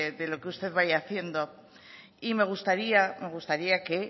de lo que usted vaya haciendo y me gustaría que